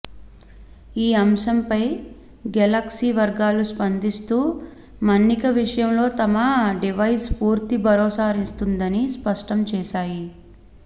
ఈ అంశం పై గెలక్సీ వర్గాలు స్పందిస్తూ మన్నిక విషయంలో తమ డివైజ్ పూర్తి భరోసానిస్తుందని స్పష్టం చేశాయి